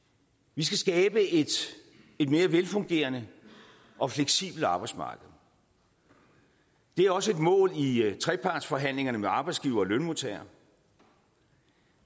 vi skal skabe et mere velfungerende og fleksibelt arbejdsmarked det er også et mål i i trepartsforhandlingerne med arbejdsgivere og lønmodtagere